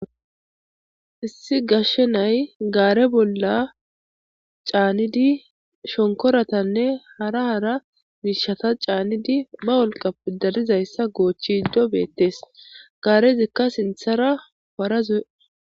hissi gashshe nay gaare bolla caanidi shonkoratanne hara hara miishata caanidi ma wolqa pidarizayssa goochchi iddo beettes gaarezikka sinthara parazuye